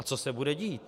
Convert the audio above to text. A co se bude dít?